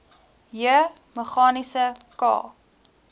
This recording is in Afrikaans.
j meganiese k